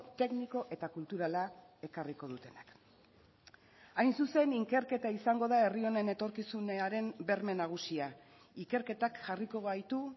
tekniko eta kulturala ekarriko dutenak hain zuzen ikerketa izango da herri honen etorkizunaren berme nagusia ikerketak jarriko baitu